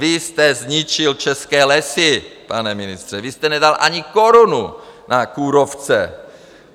Vy jste zničil české lesy, pane ministře, vy jste nedal ani korunu na kůrovce.